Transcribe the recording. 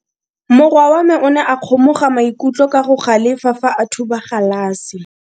Morwa wa me o ne a kgomoga maikutlo ka go galefa fa a thuba galase.